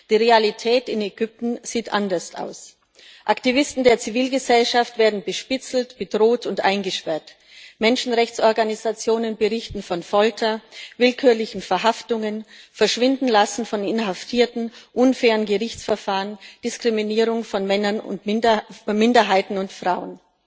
Die Realität in Ägypten sieht anders aus Aktivisten der Zivilgesellschaft werden bespitzelt, bedroht und eingesperrt, Menschenrechtsorganisationen berichten von Folter, willkürlichen Verhaftungen, dem Verschwindenlassen von Inhaftierten, unfairen Gerichtsverfahren, Diskriminierung von Minderheiten und Frauen.